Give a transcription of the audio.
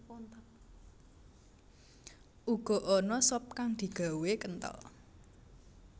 Uga ana sop kang digawé kenthel